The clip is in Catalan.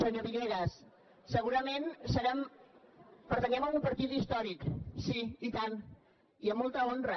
senyor villegas segurament pertanyem a un partit històric sí i tant i amb molta honra